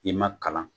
I ma kalan